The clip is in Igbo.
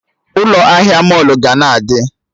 Ụlọ ahịa mọlụ ga na-adị